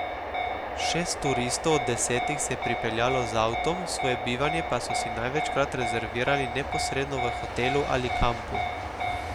Šest turistov od desetih se je pripeljalo z avtom, svoje bivanje pa so si največkrat rezervirali neposredno v hotelu ali kampu.